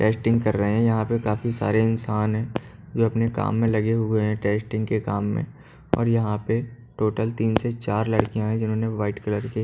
testing कर रहे है यहाँ पे काफी सारे इंसान है जो अपने काम में लगे हुए है टेस्टिंग के काम में और यहाँ पर टोटल तीन से चार लड़किया है जिन्होंने वाइट कलर के--